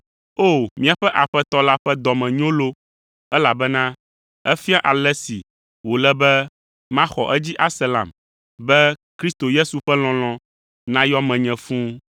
O, míaƒe Aƒetɔ la ƒe dɔme nyo loo, elabena efia ale si wòle be maxɔ edzi ase lam, be Kristo Yesu ƒe lɔlɔ̃ nayɔ menye fũu.